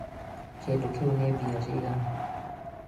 kĩndũ kĩu nĩ mbia cigana?